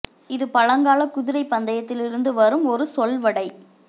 இது பழங்கால குதிரைப் பந்தயத்தில் இருந்து வரும் ஒரு சொலவடை